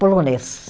polonês.